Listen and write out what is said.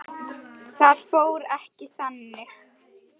Það fór ekki þannig.